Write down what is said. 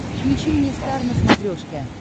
включи мне стар на смотрешке